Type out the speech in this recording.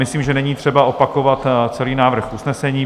Myslím, že není třeba opakovat celý návrh usnesení.